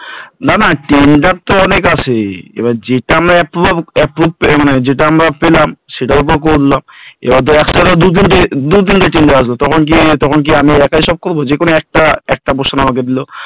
না না Tender তো অনেক আছে এবার যেটা আমরা approval পাব, মানে যেটাও আমরা পেলাম সেটাও করলাম, একতলার দু তিনটা tender আসবে তখন কি তখন কি আমরা একাই সব করব একটা portion আমাদের দিল